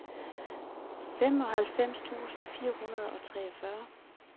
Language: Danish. femoghalvfems tusind fire hundrede og treogfyrre